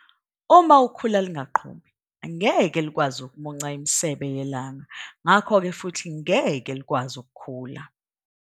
Uma ukhula lungaqhumi ngeke lukwazi ukumunca imisebe yelanga ngakho ke futhi ngeke lukwazi ukukhula.